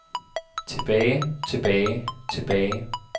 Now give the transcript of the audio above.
tilbage tilbage tilbage